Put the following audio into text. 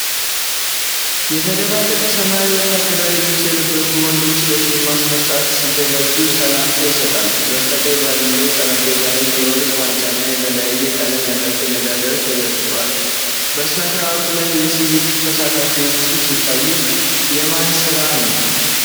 የተደባለቀ ሰማያዊ ወታደራዊ ልብስ የለበሱ ወንዶች ለሽልማት ሥነ ሥርዓት ሲዘጋጁ ሰላምታ ይሰጣሉ። በስተቀኝ ባለው ጠረጴዛ ላይ የወርቅ ዋንጫና የተለያየ ቀለም ያላቸው ሜዳሊያዎች ተዘርግተዋል። በሥነ ሥርዓቱ ላይ የሲቪል ተሳታፊዎችም ሲታዩ፣ የማን ስራት ነው?